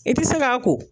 I tɛ se k'a ko